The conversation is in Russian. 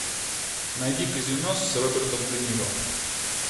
найди казино с робертом де ниро